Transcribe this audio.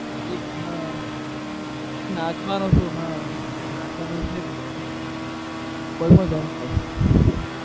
હા નાચવાનો શોખ હા નાચવાનું છે જ ને